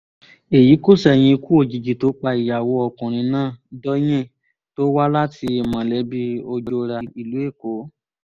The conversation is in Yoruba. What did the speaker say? èyí kò ṣẹ̀yìn ikú òjijì tó pa ìyàwó ọkùnrin náà dọ́yìn tó wá láti mọ̀lẹ́bí ojora ìlú èkó